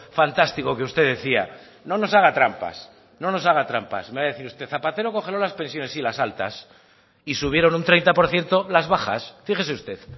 fantástico que usted decía no nos haga trampas no nos haga trampas me va a decir usted zapatero congelo las pensiones sí las altas y subieron un treinta por ciento las bajas fíjese usted